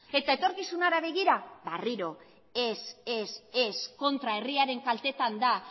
eta etorkizunera begira berriro ere ez eta kontra herriaren kaltetan da